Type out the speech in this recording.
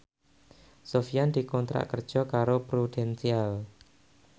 Sofyan dikontrak kerja karo Prudential